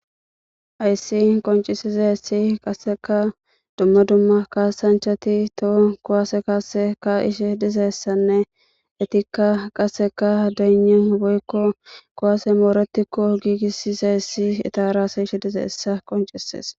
Hayis qonicises qaseka duma duma kasanichati toho ku'ase kasi ka'ishe dizaysanee etika qaseka dayina woyiko ku'asey moretiko gigisidays etara dees